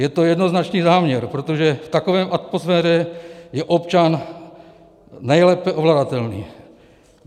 Je to jednoznačný záměr, protože v takové atmosféře je občan nejlépe ovladatelný.